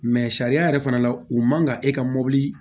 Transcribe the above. sariya yɛrɛ fana la u man kan e ka mobili